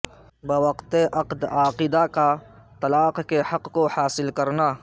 بوقت عقد عاقدہ کا طلاق کے حق کو حاصل کرنا